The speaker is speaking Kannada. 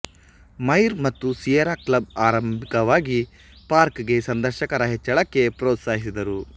ಮುಯಿರ್ ಮತ್ತು ಸಿಯೆರಾ ಕ್ಲಬ್ ಆರಂಭಿಕವಾಗಿ ಪಾರ್ಕ್ ಗೆ ಸಂದರ್ಶಕರ ಹೆಚ್ಚಳಕ್ಕೆ ಪ್ರೊತ್ಸಾಹಿಸಿದರು